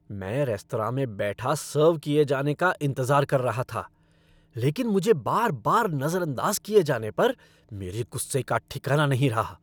मैं रेस्तरां में बैठा सर्व किए जाने का इंतज़ार कर रहा था लेकिन मुझे बार बार नज़रअंदाज़ किए जाने पर मेरे गुस्से का ठिकाना नहीं रहा।